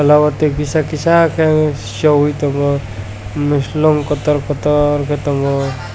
tola o tei kisa kisa kei soyoe tongo moslong kotor kotor ke tango.